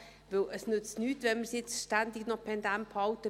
Denn es nützt nichts, wenn wir es jetzt ständig noch pendent behalten.